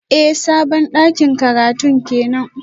Eh sabon dakin karatun kenan